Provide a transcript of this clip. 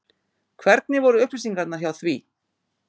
Hvernig voru upplýsingarnar hjá því?